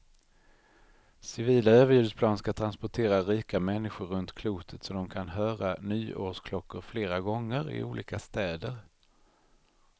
Civila överljudsplan ska transportera rika människor runt klotet så de kan höra nyårsklockor flera gånger, i olika städer.